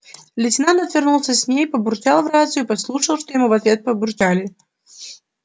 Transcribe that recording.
лейтенант отвернулся с ней побурчал в рацию послушал что ему в ответ побурчали